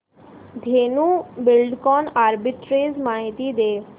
Dhenu Buildcon arbitrage माहिती दे